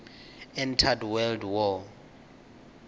entered world war